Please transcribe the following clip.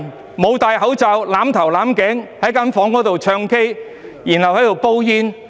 他們沒有戴口罩、"攬頭攬頸"，在房間內"唱 K"、"煲煙"。